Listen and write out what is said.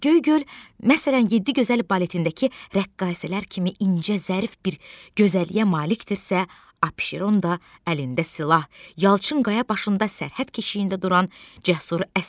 Göygöl, məsələn, yeddi gözəl baletindəki rəqqasələr kimi incə, zərif bir gözəlliyə malikdirsə, Abşeron da əlində silah, yalçın qaya başında sərhəd keşiyində duran cəsur əsgərdir.